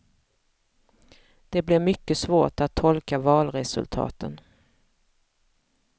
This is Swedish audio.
Det blir mycket svårt att tolka valresultaten.